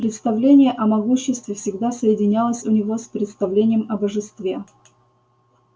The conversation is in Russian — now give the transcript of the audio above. представление о могуществе всегда соединялось у него с представлением о божестве